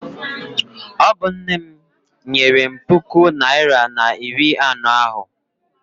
Ọ bụ nne m nyere m puku naịra na iri anọ ahụ.